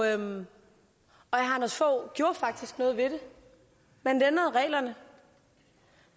herre anders fogh rasmussen gjorde faktisk noget ved det man ændrede reglerne